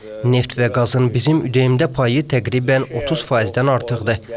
Neft və qazın bizim ÜDM-də payı təqribən 30%-dən artıqdır.